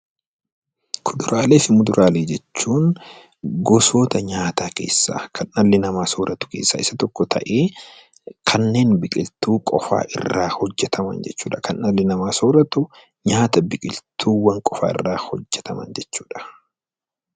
Kuduraalee fi muduraalee jechuun gosoota nyaataa kan dhalli namaa sooratu keessaa isa tokko ta'ee, kanneen biqiltuu qofaa irraa hojjetaman jechuu dha. Kan dhalli namaa sooratu, nyaata biqiltuuwwan qofaa irraa hojjetaman jechuu dha.